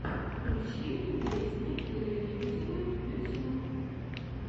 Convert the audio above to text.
включи мне песня киры лебедевой ютьюб